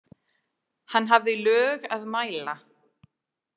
Hann hafði lög að mæla.